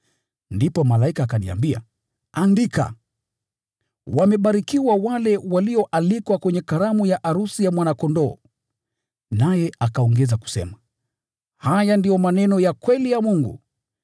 Ndipo malaika akaniambia, “Andika: ‘Wamebarikiwa wale walioalikwa kwenye karamu ya arusi ya Mwana-Kondoo!’ ” Naye akaongeza kusema, “Haya ndiyo maneno ya kweli ya Mungu.”